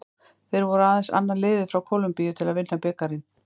Þeir voru aðeins annað liðið frá Kólumbíu til að vinna bikarinn.